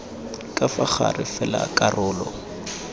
ka fa gare fela karolo